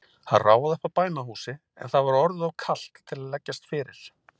Hann ráfaði upp að bænahúsi en það var orðið of kalt til að leggjast fyrir.